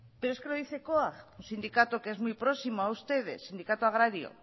pero es que lo dice coag un sindicato que es muy próximo a ustedes sindicato agrario